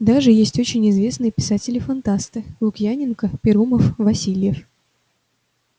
даже есть очень известные писатели фантасты лукьяненко перумов васильев